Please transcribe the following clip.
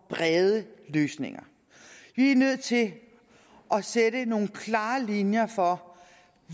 brede løsninger vi er nødt til at sætte nogle klare linjer for